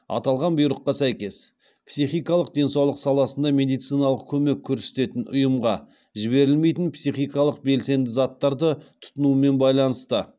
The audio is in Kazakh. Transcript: аталған бұйрыққа сәйкес психикалық денсаулық саласында медициналық көмек көрсететін ұйымға жіберілмейтін психикалық белсенді заттарды тұтынумен байланысты